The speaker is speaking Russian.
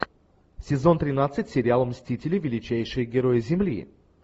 сезон тринадцать сериал мстители величайшие герои земли